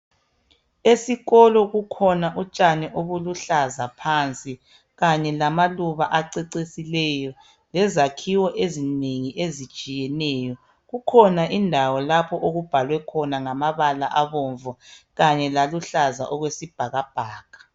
Esikolo kukhona utshani ebuluhlaza phansi ,kanye lamaluba acecisileyo ,lezakhiwo ezinengi ezitshiyeneyo. Kukhona indawo lapha okubhalwe khona ngamabala abomvu kanye laluhlaza okwesibhakabhaka.